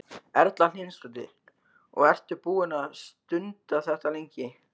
Erla Hlynsdóttir: Og ertu búinn að stunda þetta lengi?